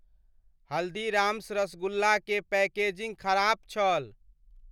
हल्दीराम्स रसगुल्ला के पैकेजिंग खराप छल।